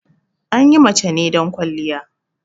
Anyi mace ne don ƙwaliya